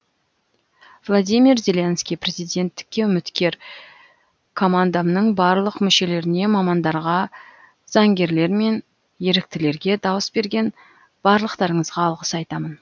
владимир зеленский президенттікке үміткер командамның барлық мүшелеріне мамандарға заңгерлер мен еріктілерге дауыс берген барлықтарыңызға алғыс айтамын